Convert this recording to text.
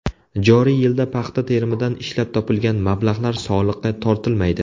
Joriy yilda paxta terimidan ishlab topilgan mablag‘lar soliqqa tortilmaydi.